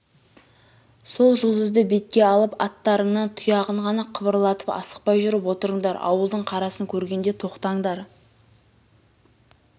сол жұлдызды бетке алып атта-рыңның тұяғын ғана қыбырлатып асықпай жүріп отырындар ауылдың қарасын көргенде тоқтандар